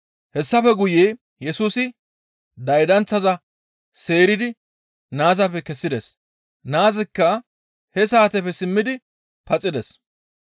Hessafe guye Yesusi daydanththaza seeridi naazappe kessides; naazikka he saateppe simmidi paxides.